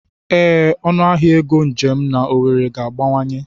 Ee, ọnụ ahịa ụgbọ njem na owerri ga-abawanye.